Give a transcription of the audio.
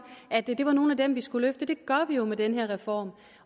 at det var nogle af dem vi skulle løfte det gør vi jo med den her reform